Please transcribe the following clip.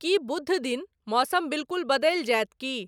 कि बुध दिन मौसम बिल्कुल बदलि जायत कि ?